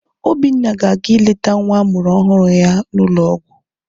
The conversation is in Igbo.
Obinna ga-aga ileta nwa amụrụ ọhụrụ ya n'ụlọọgwụ.